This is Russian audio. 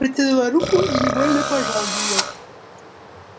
протянула руку и невольно пожал её